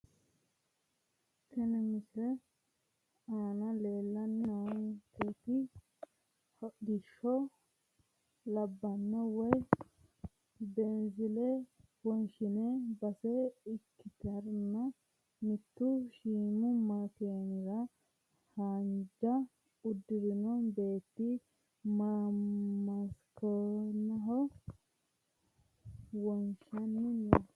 Tini misilete aana leeltani noonketi hodhishshaho laanba woyi beenzile wonshinani base ikitana mittu shiimu makeenira haanja udirino beeti makeenaho wonshani no.